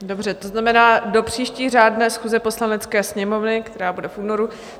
Dobře, to znamená do příští řádné schůze Poslanecké sněmovny, která bude v únoru.